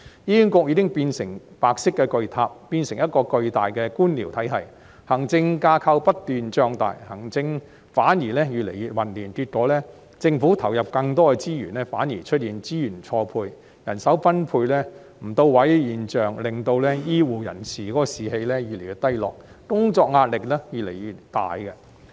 醫管局已經變成白色巨塔，變成一個巨大的官僚體系，行政架構不斷脹大，行政反而越來越混亂，結果政府投入更多資源，反而出現資源錯配、人手分配不到位的現象，令醫護人員士氣越來越低落，工作壓力越來越大。